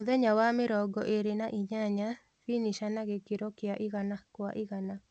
Mũthenya wa mĩrongo ĩlĩ na inyanya, finisher na gĩkiro kia igana kwa igana